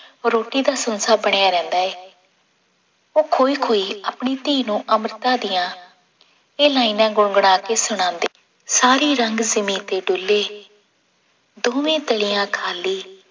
ਰੋਟੀ ਦਾ ਸੰਸਾ ਬਣਿਆ ਰਹਿੰਦਾ ਹੈ ਉਹ ਖੋਹੀ ਖੋਹੀ ਆਪਣੀ ਧੀ ਨੂੰ ਅਮ੍ਰਿਤਾ ਦੀਆਂ ਇਹ ਲਾਇਨਾਂ ਗੁਣਗੁਣਾ ਕੇ ਸੁਣਾਂਦੀ ਸਾਰੀ ਰੰਗ ਜਿਮੀ ਤੇ ਡੁਲੇ ਦੋਵੇਂ ਤਲੀਆਂ ਖਾਲੀ